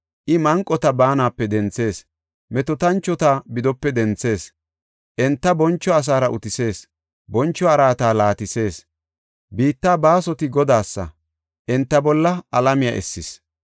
I manqota baanape denthees; metootanchota bidope denthees. Enta boncho asaara utisees; boncho araata laatisees. Biittaa baasoti Godaasa; enta bolla alamiya essis.